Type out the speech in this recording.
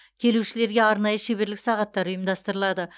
келушілерге арнайы шеберлік сағаттар ұйымдастырылады